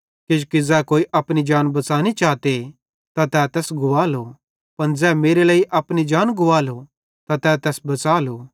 किजोकि ज़ै कोई अपनी जान बच़ांनी चाते तै तैस गुवालो पन ज़ै मेरे लेइ अपनी जान गुवालो त तै तैस बच़ालो